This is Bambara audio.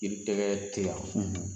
I tɛgɛ tɛ yan.